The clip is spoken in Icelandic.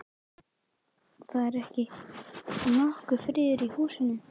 Það er ekki nokkur friður í húsinu.